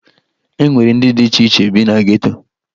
E nwere ndị dị iche iche bi na geto